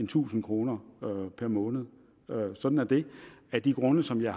tusind kroner per måned og sådan er det af de grunde som jeg